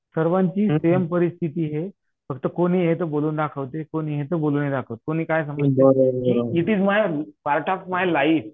सर्वांची सेम परिस्थिती ये. फक्त कोणी ये तो बोलून दाखवतंय, कोणी ये तो बोलून नाही दाखवत कोणी काय it is why part of my life.